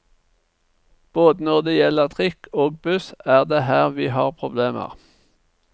Både når det gjelder trikk og buss er det her vi har problemer.